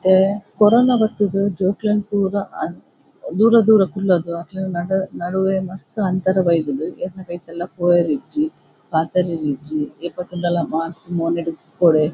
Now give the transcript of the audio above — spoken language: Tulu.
ಇತ್ತೆ ಕೊರೋನಾ ಬತ್ ದ್ ಜೋಕುಲೆನ್ ಪೂರ ದೂರ ದೂರ ಕುಲ್ಲಾದ್ ಅಕಲ್ನ ನಡುವೆ ಮಸ್ತ್ ಅಂತರ ಬೈದುಂಡ್ ಏರ್ನ ಕೈತಲ್ಲಾ ಪೋಯೆರಿಜ್ಜಿ ಪಾತೆರೆರೆ ಇಜ್ಜಿ ಏಪ ತೂಂಡಲ ಮಾಸ್ಕ್ ಮೋನೆಡ್ ಉಪ್ಪೊಡೆ.